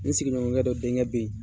N sigiɲɔgɔnkɛ dɔ denkɛ bɛ yen.